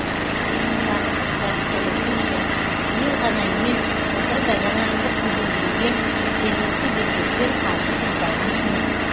сағындық сәбитұлы тілші биыл ғана емес былтыр да жаңажылдық безендіруге жергілікті бюджеттен қаржы жұмсалған емес